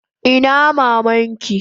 Ina maman ki?